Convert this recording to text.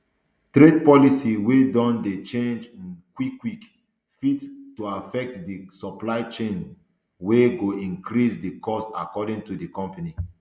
trade policy wia don dey change um quick quick fit to affect di supply chain um wia go increase di cost according to di company